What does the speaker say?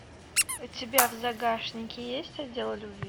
у тебя в загашнике есть отдел любви